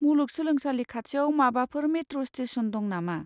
मुलुग सोलोंसालि खाथियाव माबाफोर मेट्र' स्टेसन दं नामा?